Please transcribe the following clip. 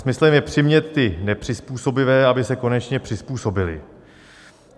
Smyslem je přimět ty nepřizpůsobivé, aby se konečně přizpůsobili.